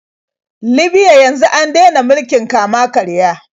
Libya yanzu an dena mulkin kama-karya.